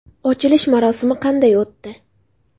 Ochilish marosimi qanday o‘tdi?